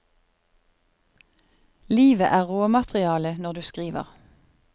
Livet er råmaterialet når du skriver.